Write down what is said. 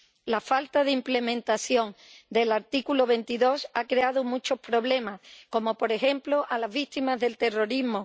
La falta de implementación del artículo 22 ha creado muchos problemas, por ejemplo, a las víctimas del terrorismo.